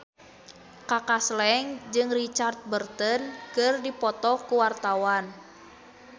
Kaka Slank jeung Richard Burton keur dipoto ku wartawan